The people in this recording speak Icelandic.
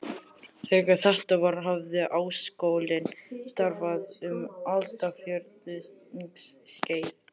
Þegar þetta var, hafði Háskólinn starfað um aldarfjórðungs skeið.